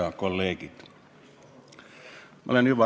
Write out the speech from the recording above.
Head kolleegid!